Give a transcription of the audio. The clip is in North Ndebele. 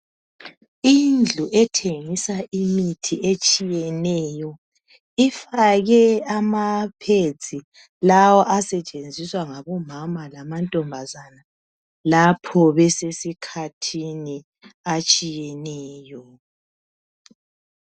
Indlu ethengisa imithi etshiyeneyo. Ifake amapads lawa asetshenziswa ngobamama lamantombazana lapho besesikhathini atshiyeneyo.